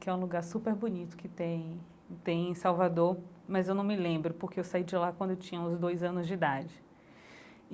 que é um lugar super bonito, que tem tem em Salvador, mas eu não me lembro, porque eu saí de lá quando tinha uns dois anos de idade.